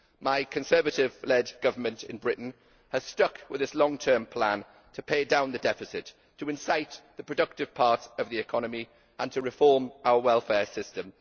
My Conservative led Government in Britain has stuck with its long term plan to pay down the deficit, to incite the productive parts of the economy and to reform our welfare system.